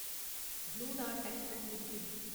blue dart express limited